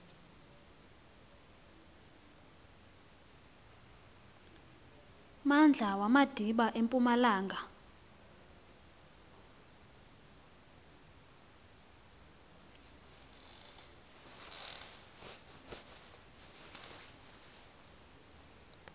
mmandla wamadiba empumalanga